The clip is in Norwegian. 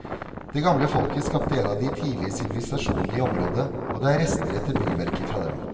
Det gamle folket skapte en av de tidlige sivilisasjonene i området, og det er rester etter byggverker fra dem.